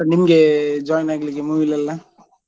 ಉಂಟಾ ನಿಮ್ಗೆ join ಆಗ್ಲಿಕ್ಕೆ movie ಲೆಲ್ಲಾ?